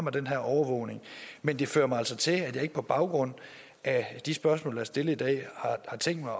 af den her overvågning men det fører mig altså til at sige at jeg ikke på baggrund af de spørgsmål der er stillet i dag har tænkt mig